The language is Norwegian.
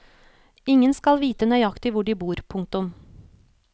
Ingen skal vite nøyaktig hvor de bor. punktum